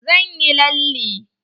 Zan yi lalle.